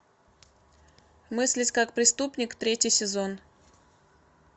мыслить как преступник третий сезон